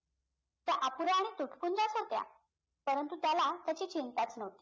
परंतु त्याला त्याची चिंताच नवती